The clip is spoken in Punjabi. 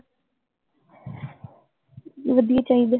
ਵਧੀਆ ਚਾਹੀਦਾ